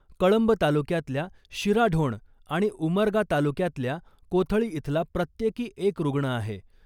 कळंब तालुक्यातल्या शिराढोण आणि उमरगा तालुक्यातल्या कोथळी इथला प्रत्येकी एक रुग्ण आहे .